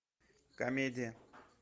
комедия